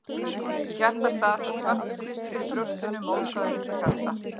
Í hjartastað sat svartur kvistur í brjóstinu, mótaður eins og hjarta.